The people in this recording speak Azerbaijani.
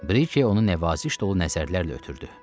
Brike onu nəvaziş dolu nəzərlərlə ötdürdü.